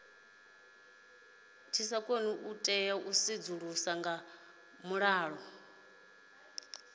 tea u sedzuluswa nga vhuḓalo